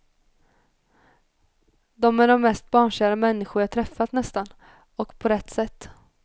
De är de mest barnkära människor jag träffat nästan, och på rätt sätt.